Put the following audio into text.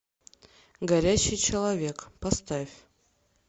горящий человек поставь